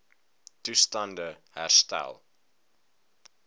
toestand e herstel